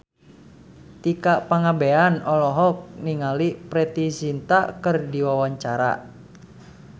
Tika Pangabean olohok ningali Preity Zinta keur diwawancara